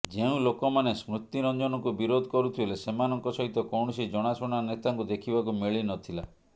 ଯେଉଁ ଲୋକମାନେ ସ୍ମୃତିରଞ୍ଜନଙ୍କୁ ବିରୋଧ କରୁଥିଲେ ସେମାନଙ୍କ ସହିତ କୌଣସି ଜଣାଶୁଣା ନେତାଙ୍କୁ ଦେଖିବାକୁ ମିଳି ନଥିଲା